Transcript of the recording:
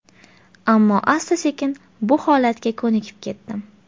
Ammo asta sekin bu holatga ko‘nikib ketdim.